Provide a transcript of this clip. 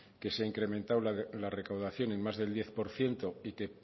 que se ha incrementado la recaudación en más del diez por ciento y que